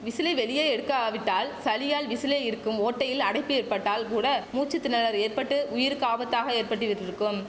முடியாமல் விசிலை வெளியே எடுக்கா விட்டால் சளியால் விசிலில் இருக்கும் ஓட்டையில் அடைப்பு ஏற்பட்டால் கூட மூச்சு திணறல் ஏற்பட்டு உயிருக்கு ஆபத்தாக ஏற்பட்டிவிட்டிருக்கும்